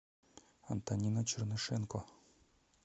антонина чернышенко